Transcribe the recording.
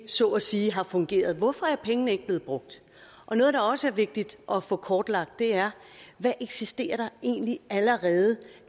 så at sige ikke har fungeret hvorfor er pengene ikke blevet brugt noget der også er vigtigt at få kortlagt er hvad eksisterer der egentlig allerede